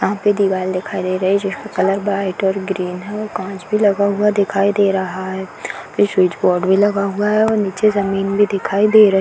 यहाँ पे दीवाल दिखाई दे रहे हैं जिसपे कलर वाइट और ग्रीन है और कांच भी लगा हुआ दिखाई दे रहा है | स्विच बोर्ड भी लगा हुआ है और निचे जमीन भी दिखाई दे रही है |